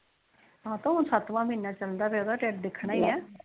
ਹਮ ਤੇ ਹੁਣ ਸੱਤਵਾ ਮਹੀਨਾ ਚੱਲਦਾ ਪੇਆ ਹੁਣ ਤਾ ਟਿਡ ਦਿਖਣਾ ਹੀ ਏ